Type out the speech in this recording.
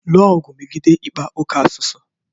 Lụọ ọgụ megide ịkpa oke asụsụ